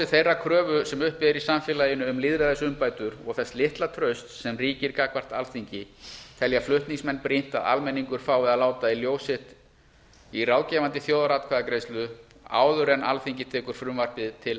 þeirrar kröfu sem uppi er í samfélaginu um lýðræðisumbætur og þess litla trausts sem ríkir gagnvart alþingi telja flutningsmenn brýnt að almenningur fái að láta í ljós álit sitt í ráðgefandi þjóðaratkvæðagreiðslu áður en alþingi tekur frumvarpið til